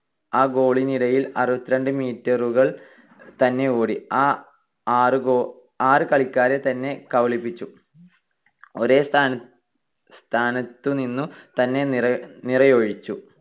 ആ goal നിടയിൽ അറുപത്തിരണ്ട്‍ meter കൾ തന്നെ ഓടി, ആ ആറ് കളിക്കാരെ തന്നെ കബളിപ്പിച്ചു, ഒരേ സ്ഥാനത്തുനിന്നു തന്നെ നിറയൊഴിച്ചു.